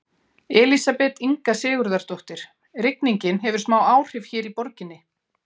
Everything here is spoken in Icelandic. Elísabet Inga Sigurðardóttir: Rigningin hefur smá áhrif hér í borginni?